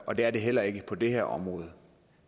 og det er det heller ikke på det her område